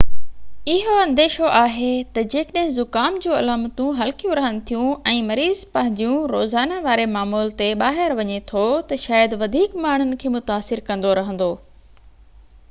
اهو انديشو آهي تہ جيڪڏهن زڪام جون علامتون هلڪيون رهن ٿيون ۽ مريض پنهنجيون روزانا واري معمول تي ٻاهر وڃي ٿو تہ شايد وڌيڪ ماڻهن کي متاثر ڪندو رهندو